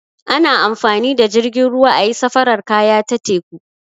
Ana amfani da jirgin ruwa ayi safarar kaya ta teku.